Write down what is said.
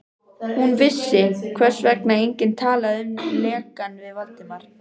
Hún vissi, hvers vegna enginn talaði um lekann við Valdimar.